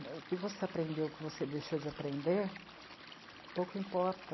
O que você aprendeu, o que você deixou de aprender, pouco importa.